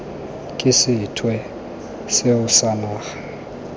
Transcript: ke sethwe seo sa naga